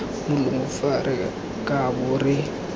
molomo fa re kabo re